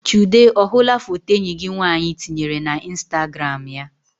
Chude ọ hụla foto enyi gị nwaanyị tinyere na instagram ya?